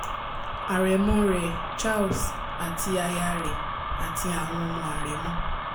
àrẹ̀mọ rẹ̀ charles àti aya rẹ̀ àti àwọn ọmọ àrẹ̀mọ